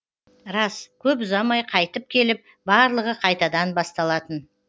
рас көп ұзамай қайтып келіп барлығы қайтадан басталатын